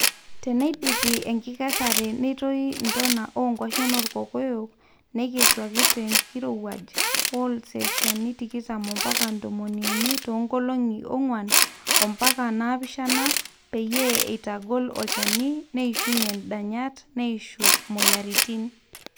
teneidipi enkikesare netoi ntona oo nkwashen oorkokoyok naikesuaki te enkirowuaj o selshiani tikitam ompaka tomoniuni too nkolongi ongwan ompaka naapishana peyie eitagol olchoni neishuunye ndanyat neishu moyaritin